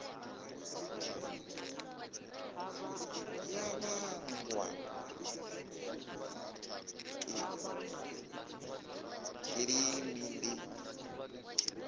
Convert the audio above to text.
ya vhangwa nga kilima ndi